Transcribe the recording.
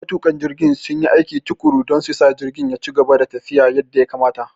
Matuƙan jirgin sun yi aiki tuƙuru don su sa jirgin ya ci gaba da tafiya yadda ya kamata.